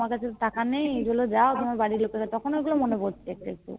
বাবা আমার কাছে তো টাকা নেই তুমি যাও